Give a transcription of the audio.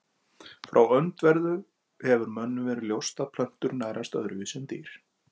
Frá öndverðu hefur mönnum verið ljóst að plöntur nærast öðruvísi en dýr.